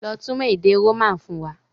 Lọ túmọ̀ èdè Roman fún wa!